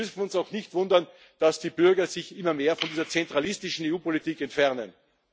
Wir dürfen uns auch nicht wundern, dass die Bürger sich immer mehr von dieser zentralistischen EU Politik entfernen.